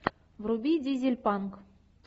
вруби дизель панк